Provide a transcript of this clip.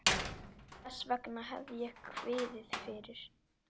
Þess vegna hef ég kviðið fyrir.